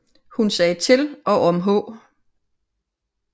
Hun sagde til og om H